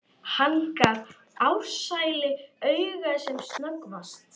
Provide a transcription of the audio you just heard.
Hann gaf Ársæli auga sem snöggvast.